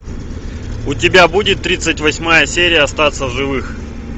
у тебя будет тридцать восьмая серия остаться в живых